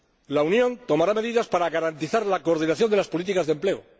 La Unión tomará medidas para garantizar la coordinación de las políticas de empleo.